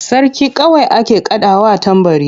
Sarki kawai ake kaɗawa tambari.